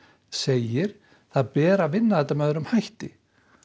segir að beri að vinna þetta með öðrum hætti